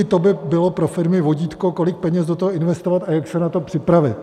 I to by bylo pro firmy vodítko, kolik peněz do toho investovat a jak se na to připravit.